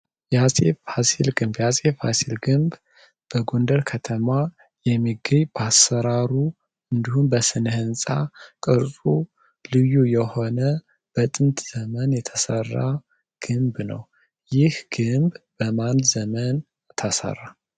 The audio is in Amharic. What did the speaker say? የአፄ ፋሲል ግንብ የአፄ ፋሲል ግንብ በጐንደር ከተማ የሚገይ ባሠራሩ እንዲሁንም በስነህንፃ ቅርፁ ልዩ የሆነ በጥንት ዘመን የተሠራ ግንብ ነው። ይህ ግንብ በማል ዘመን ተሠራ?